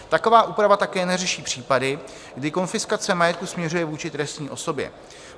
Taková úprava také neřeší případy, kdy konfiskace majetku směřuje vůči třetí osobě.